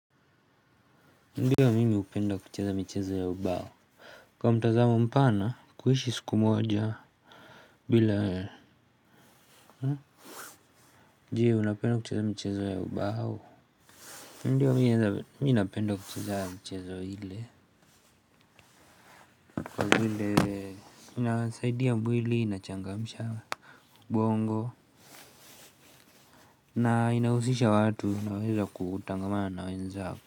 Ndiyo mimi hupenda kucheza michezo ya ubao. Kwa mtazamo mpana kuishi siku moja bila? Jee unapenda kucheza michezo ya ubao. Ndio mimi napenda kucheza mchezo ile vile inasaidia mwili inachangamsha Bongo Na inahusisha watu inaweza kutangamana na wenzako.